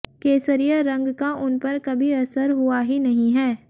केसरिया रंग का उन पर कभी असर हुआ ही नहीं है